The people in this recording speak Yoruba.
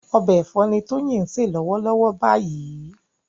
Ọbẹ̀ ẹ̀fọ́ ni Tóyìn ń se lọ́wọ́lọ́wọ́ báyìí